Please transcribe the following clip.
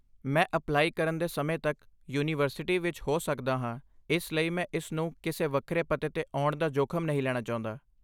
ਮੈਂ ਅਪਲਾਈ ਕਰਨ ਦੇ ਸਮੇਂ ਤੱਕ ਯੂਨੀਵਰਸਿਟੀ ਵਿੱਚ ਹੋ ਸਕਦਾ ਹਾਂ ਇਸ ਲਈ ਮੈਂ ਇਸ ਨੂੰ ਕਿਸੇ ਵੱਖਰੇ ਪਤੇ 'ਤੇ ਆਉਣ ਦਾ ਜੋਖ਼ਮ ਨਹੀਂ ਲੈਣਾ ਚਾਹੁੰਦਾ।